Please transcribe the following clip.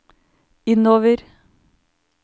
innover